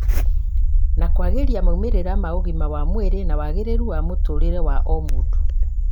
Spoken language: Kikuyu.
na kwagĩria maumĩrĩra ma ũgima wa mwĩrĩ na wagĩrĩru wa mũtũũrĩre wa o mũndũ